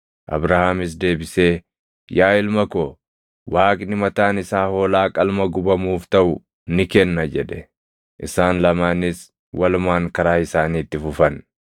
Abrahaamis deebisee, “Yaa ilma ko, Waaqni mataan isaa hoolaa qalma gubamuuf taʼu ni kenna” jedhe. Isaan lamaanis walumaan karaa isaanii itti fufan.